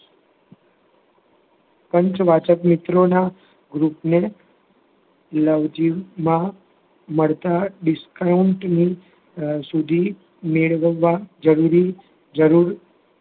પંચવાચક મિત્રોના group ને નજીકમાં મળતા discount સુધી મેળવવા જરૂરી